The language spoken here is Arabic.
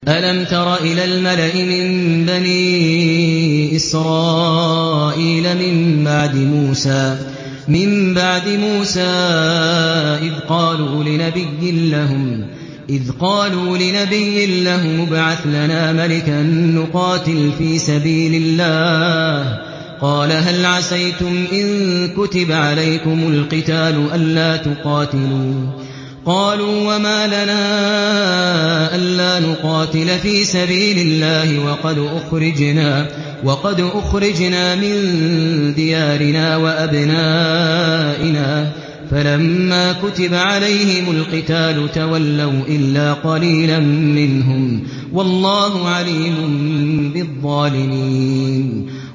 أَلَمْ تَرَ إِلَى الْمَلَإِ مِن بَنِي إِسْرَائِيلَ مِن بَعْدِ مُوسَىٰ إِذْ قَالُوا لِنَبِيٍّ لَّهُمُ ابْعَثْ لَنَا مَلِكًا نُّقَاتِلْ فِي سَبِيلِ اللَّهِ ۖ قَالَ هَلْ عَسَيْتُمْ إِن كُتِبَ عَلَيْكُمُ الْقِتَالُ أَلَّا تُقَاتِلُوا ۖ قَالُوا وَمَا لَنَا أَلَّا نُقَاتِلَ فِي سَبِيلِ اللَّهِ وَقَدْ أُخْرِجْنَا مِن دِيَارِنَا وَأَبْنَائِنَا ۖ فَلَمَّا كُتِبَ عَلَيْهِمُ الْقِتَالُ تَوَلَّوْا إِلَّا قَلِيلًا مِّنْهُمْ ۗ وَاللَّهُ عَلِيمٌ بِالظَّالِمِينَ